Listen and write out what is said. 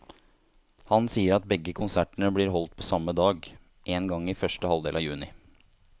Han sier at begge konsertene blir holdt på samme dag, en gang i første halvdel av juni.